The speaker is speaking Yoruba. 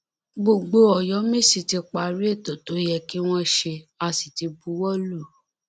gbogbo ọyọmẹsì ti parí ètò tó yẹ kí wọn ṣe á sì ti buwọ lù ú